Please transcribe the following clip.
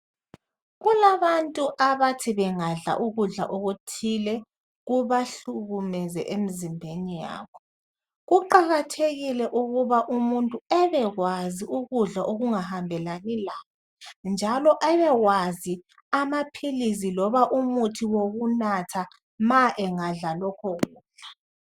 Kulabantu abathi bangadla ukudla okuthile kubahlukumeze emzimbeni yabo. Kuqakathekile ukuba umuntu ebekwazi ukudla okungahambelani laye. Njalo abekwazi amaphilizi loba umuthi wokunatha ma engadla lokho kudla.